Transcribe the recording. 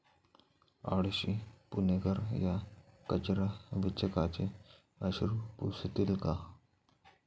आळशी पुणेकर, या कचरा वेचकाचे अश्रू पुसतील का?